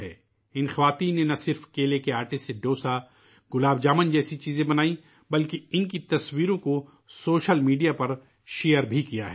ان خواتین نے نہ صرف کیلے کے آٹے سے ڈوسا ، گلاب جامن جیسی چیزیں بنائی ہیں بلکہ ان کی تصویروں کو سوشل میڈیا پر شیئر بھی کیا ہے